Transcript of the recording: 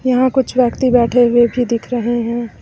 यहां कुछ व्यक्ति बैठे हुए भी दिख रहे है।